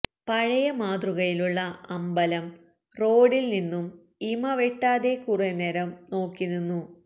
പഴയ മാതൃകയിലുള്ള അമ്പലം റോഡിൽ നിന്നും ഇമവെട്ടാതെ കുറെ നേരം നോക്കിനിന്നു